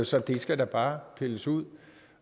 så det skal da bare pilles ud